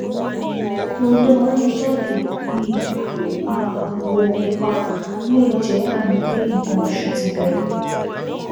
Ohun tó máa ń jáde bíi àwọ̀ pupa lè jẹ́ àmì pé nǹkan oṣù ti bẹ̀rẹ̀